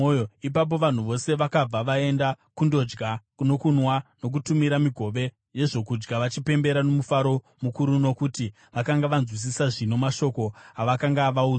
Ipapo vanhu vose vakabva vaenda kundodya nokunwa, nokutumira migove yezvokudya vachipembera nomufaro mukuru, nokuti vakanga vanzwisisa zvino mashoko avakanga vaudzwa.